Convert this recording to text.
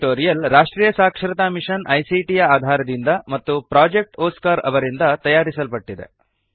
ಈ ಟ್ಯುಟೋರಿಯಲ್ ರಾಷ್ಟ್ರೀಯ ಸಾಕ್ಷರತಾ ಮಿಶನ್ ಐಸಿಟಿ ಯ ಆಧಾರದಿಂದ ಮತ್ತು ಪ್ರೊಜೆಕ್ಟ್ ಒಸ್ಕಾರ್ ಅವರಿಂದ ತಯಾರಿಸಲ್ಪಟ್ಟಿದೆ